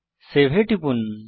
save এ টিপুন